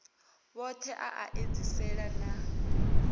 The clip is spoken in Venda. vhothe a a edziselea na